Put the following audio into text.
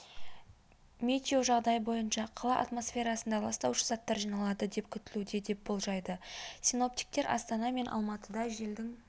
метеожағдай бойынша қала атмосферасында ластаушы заттар жиналады деп күтілуде деп болжайды синоптиткер астана мен алматыда желдің